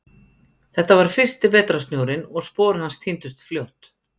Þetta var fyrsti vetrarsnjórinn og spor hans týndust fljótt.